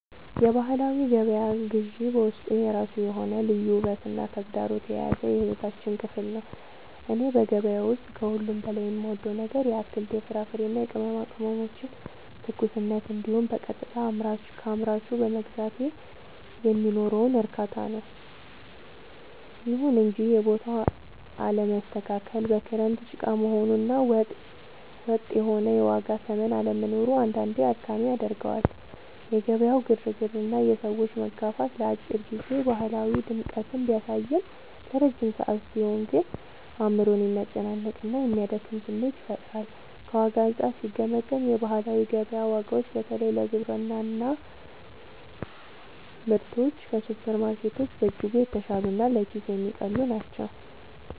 የባህላዊ ገበያ ግዢ በውስጡ የራሱ የሆነ ልዩ ውበትና ተግዳሮት የያዘ የሕይወታችን ክፍል ነው። እኔ በገበያ ውስጥ ከሁሉ በላይ የምወደው ነገር የአትክልት፣ የፍራፍሬና የቅመማ ቅመሞችን ትኩስነት እንዲሁም በቀጥታ ከአምራቹ በመግዛቴ የሚኖረውን እርካታ ነው። ይሁን እንጂ የቦታው አለመስተካከል፣ በክረምት ጭቃ መሆኑ እና ወጥ የሆነ የዋጋ ተመን አለመኖሩ አንዳንዴ አድካሚ ያደርገዋል። የገበያው ግርግርና የሰዎች መጋፋት ለአጭር ጊዜ ባህላዊ ድምቀትን ቢያሳይም፣ ለረጅም ሰዓት ሲሆን ግን አእምሮን የሚያስጨንቅና የሚያደክም ስሜት ይፈጥራል። ከዋጋ አንጻር ሲገመገም፣ የባህላዊ ገበያ ዋጋዎች በተለይ ለግብርና ምርቶች ከሱፐርማርኬቶች በእጅጉ የተሻሉና ለኪስ የሚቀልሉ ናቸው።